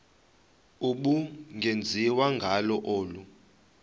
ubungenziwa ngalo olu